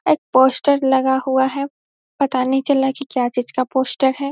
एक पोस्टर लगा हुआ है पता नहीं चल रहा है की क्या चीज का पोस्टर है।